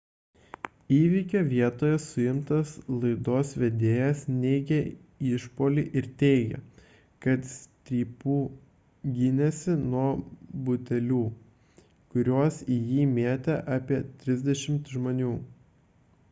įvykio vietoje suimtas laidos vedėjas neigė išpuolį ir teigė kad strypu gynėsi nuo butelių kuriuos į jį mėtė apie trisdešimt žmonių